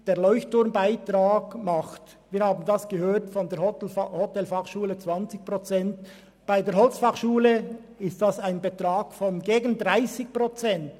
Der Leuchtturm-Beitrag umfasst bei der Hotelfachschule Thun 20 Prozent, und bei der HF Holz sind es gegen 30 Prozent.